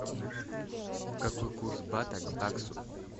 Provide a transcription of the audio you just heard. какой курс бата к баксу